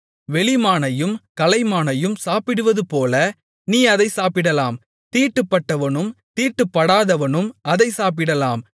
வெளிமானையும் கலைமானையும் சாப்பிடுவதுபோல நீ அதைச் சாப்பிடலாம் தீட்டுப்பட்டவனும் தீட்டுப்படாதவனும் அதைச் சாப்பிடலாம்